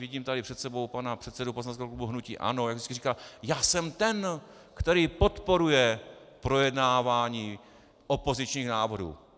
Vidím tady před sebou pana předsedu poslaneckého klubu hnutí ANO, jak vždycky říká: já jsem ten, který podporuje projednávání opozičních návrhů.